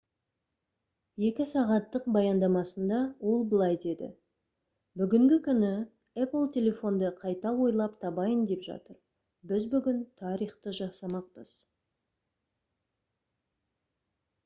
2 сағаттық баяндамасында ол былай деді: «бүгінгі күні apple телефонды қайта ойлап табайын деп жатыр. біз бүгін тарихты жасамақпыз»